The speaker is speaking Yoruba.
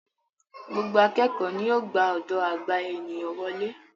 Gbogbo àkẹ́kọ ni yíò gbà ọdọ agba ènìyàn wole.